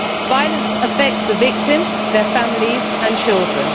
Violence affects the victim, their families and children.